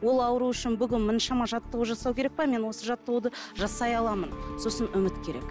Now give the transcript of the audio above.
ол ауру үшін бүгін мұншама жаттығу жасау керек пе мен осы жаттығуды жасай аламын сосын үміт керек